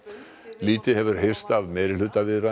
lítið hefur heyrst af meirihlutaviðræðum